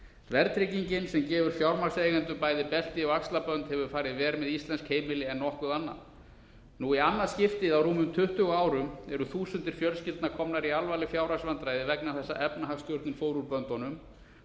verðtryggingin sem gefur fjármagnseigendum bæði belti og axlabönd hefur farið verr með íslensk heimili en nokkuð annað nú í annað skiptið á rúmum tuttugu árum eru þúsundir fjölskyldna komnar í alvarleg fjárhagsvandræði vegna þess að efnahagsstjórnin fór úr böndunum